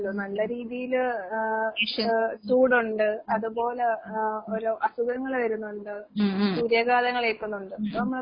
ഉം ഉം. ഉം ഉം ഉം ഉം ഉം ഉം ഉം ഉം.